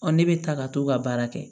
ne bɛ taa ka t'u ka baara kɛ